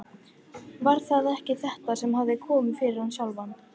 Var það ekki þetta sem hafði komið fyrir hann sjálfan?